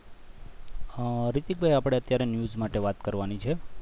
હા રિતિક ભાઈ આપણે અત્યારે news માટે વાત કરવાની છે